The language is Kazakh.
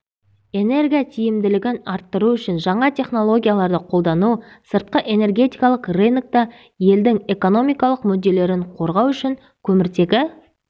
энерготиімділігін арттыру үшін жаңа технологияларды қолдану сыртқы энергетикалық рынокта елдің экономикалық мүдделерін қорғау үшін көміртегі